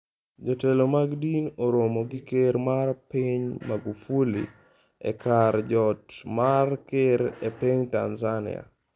Jotelo mag din oromo gi Ker mar Piny Magufuli e kar jot mar ker e piny Tanzania